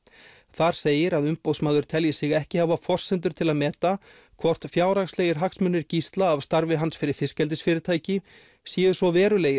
þar segir að Umboðsmaður telji sig ekki hafa forsendur til að meta hvort fjárhagslegir hagsmunir Gísla af starfi hans fyrir fiskeldisfyrirtæki séu svo verulegir